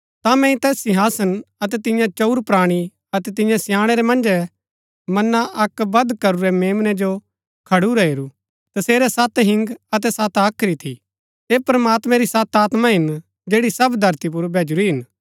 ता मैंई तैस सिंहासन अतै तियां चंऊर प्राणी अतै तियां स्याणै रै मन्जै मना अक्क वध करूरै मेम्नै जो खडूरा हेरू तसेरै सत हिंग अतै सत हाख्री थी ऐह प्रमात्मैं री सत आत्मा हिन जैड़ी सब धरती पुर भैजुरी हिन